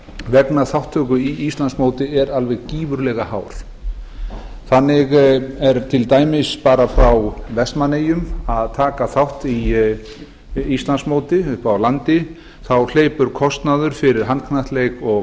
vegna þátttöku í íslandsmóti er gífurlega hár þannig hleypur til dæmis kostnaður fyrir vestmannaeyinga við að taka þátt í íslandsmóti uppi á landi í handknattleik og